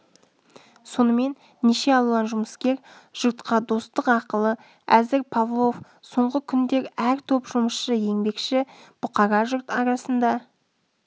сонымен неше алуан жұмыскер жұртқа достық ақылы әзір павлов соңғы күндер әр топ жұмысшы еңбекші бұқара жұрт арасында